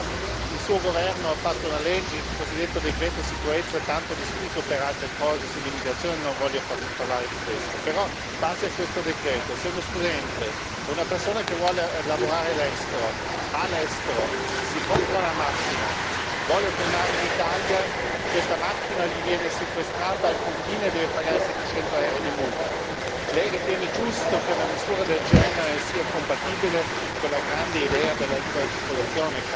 Però il suo governo ha fatto una legge, il cosiddetto decreto sicurezza tanto discusso per altre cose come l'immigrazione, ma non voglio parlare di questo in base al quale, se uno studente o una persona che vuole lavorare all'estero va all'estero, si compera una macchina e vuole tornare in Italia, questa macchina gli viene sequestrata al confine e deve pagare 700 euro di multa. Lei ritiene giusto che una misura del genere sia compatibile con la grande idea della libera circolazione?